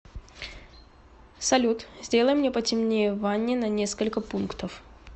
салют сделай мне потемнее в ванне на несколько пунктов